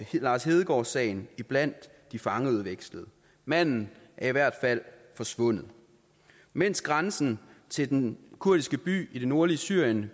lars hedegaard sagen blandt de fangeudvekslede manden er i hvert fald forsvundet mens grænsen til den kurdiske by i det nordlige syrien